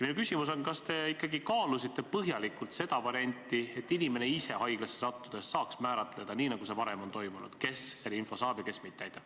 Minu küsimus on järgmine: kas te ikka kaalusite põhjalikult seda varianti, et inimene ise saaks haiglasse sattudes kindlaks määrata, kes seda infot saab ja kes mitte, nii nagu see varem on toimunud?